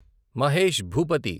Mahesh Bhupathi